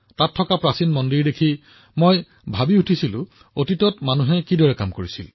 মানুহে কেনেদৰে শতিকা পূৰ্বে কেনেদৰে কাম কৰিছিল তাৰ দ্বাৰা মই বহুত প্ৰভাৱিত হৈছিলো